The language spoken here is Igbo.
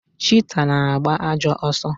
Chita na-agba ajọ ọsọ.